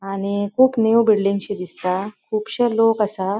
आणि खूब न्यू बिल्डिंगशी दिसता. खुबशे लोक असा.